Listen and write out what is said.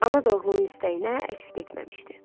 Ana da oğlunun istəyinə əks getməmişdi.